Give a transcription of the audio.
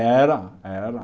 Era, era.